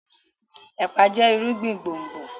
epa jẹ irúgbìn gbòngbò.